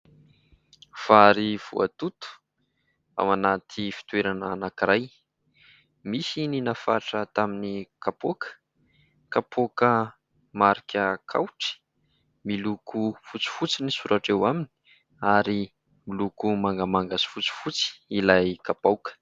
Vary voatoto ao anaty fitoerana anankiray. Misy ny nafatra tamin'ny kapoaka, kapoka marika "Kaoatry", miloko fotsifotsy ny soratra eo aminy, ary miloko mangamanga sy fotsifotsy ilay kapoaka.